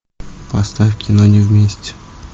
поставь кино не вместе